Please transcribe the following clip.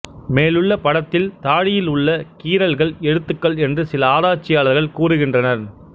மேலுள்ள படத்தில் தாழியில் உள்ள கீறல்கள் எழுத்துக்கள் என்று சில ஆராய்ச்சியாளர்கள் கூறுகின்றனர்